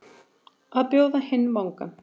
Að bjóða hinn vangann